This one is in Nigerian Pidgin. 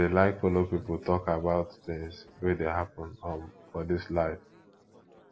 i dey like folo pipo tok about tins wey dey happen um for dis life